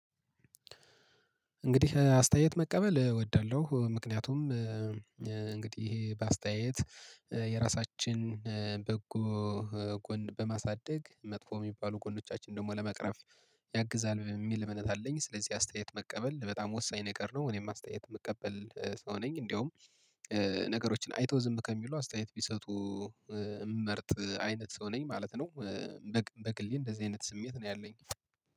እንግዲህ አስተያየት መቀበል እወዳለሁ ምክንያቱም እንግዲህ በአስተያየት የራሳችን በጎ ጎን በማሳደግ መጥፎ እሚባሉ ጎኖቻችን ደግሞ ለመቅረፍ ያግዛል የሚል እምነት አለኝ። ስለዚህ አስተያየት መቀበል በጣም ወሳኝ ነገር ነው። እኔም አስተያየት የምቀበል ሰው ነኝ። እንደውም ነገሮችን አይተው ዝም ከሚሉ አስተያየት ቢሰጡ እምመርጥ አይነት ሰው ነኝ ማለት ነው። በግሌ እንደዚህ አይነት ስሜት ነው ያለኝ።